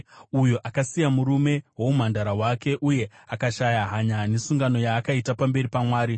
uyo akasiya murume woumhandara hwake uye akashaya hanya nesungano yaakaita pamberi paMwari.